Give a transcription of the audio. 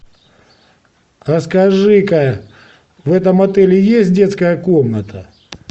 расскажи ка в этом отеле есть детская комната